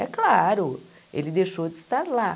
É claro, ele deixou de estar lá.